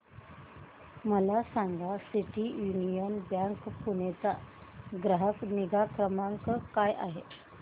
मला सांगा City Union Bank Pune चा ग्राहक निगा क्रमांक काय आहे